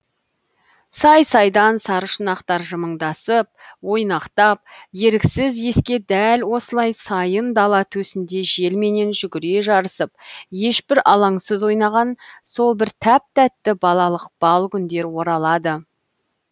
сай сайдан саршұнақтар жымыңдасып ойнақтап еріксіз еске дәл осылай сайын дала төсінде желменен жүгіре жарысып ешбір алаңсыз ойнаған сол бір тәп тәтті балалық бал күндер оралады